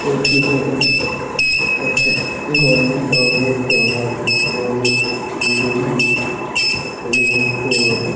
এই চিত্রটা একটা গভর্নমেন্ট অফ ওয়েস্ট বেঙ্গল বটে।